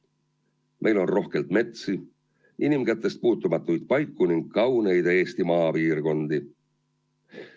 Meil on rohkelt metsi, inimkätest puutumatuid paiku ning kauneid maapiirkondi.